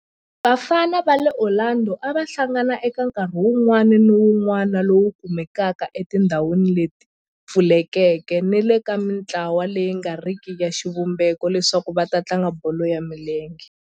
Vafana va le Orlando a va hlangana eka nkarhi wun'wana ni wun'wana lowu kumekaka etindhawini leti pfulekeke ni le ka mintlawa leyi nga riki ya xivumbeko leswaku va tlanga bolo ya milenge.